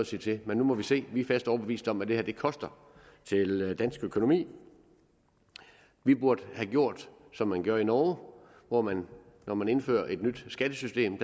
sige til men nu må vi se vi er fast overbevist om at det her koster dansk økonomi vi burde have gjort som man gør i norge hvor man når man indfører et nyt skattesystem